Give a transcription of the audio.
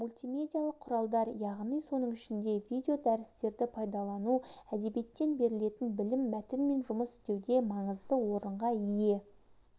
мультимедиялық құралдар яғни соның ішінде видеодәрістерді пайдалану әдебиеттен берілетін білім мәтінмен жұмыс істеуде маңызды орынға ие